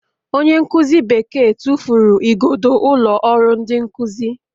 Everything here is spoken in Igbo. Onye nkuzi Bekee tụfuru igodo ụlọ ọrụ ndị nkuzi